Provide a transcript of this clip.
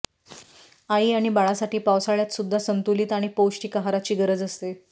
आई आणि बाळासाठी पावसाळ्यातसुद्धा संतुलित आणि पौष्टिक आहारची गरज असते